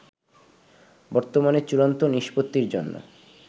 বর্তমানে চূড়ান্ত নিষ্পত্তির জন্য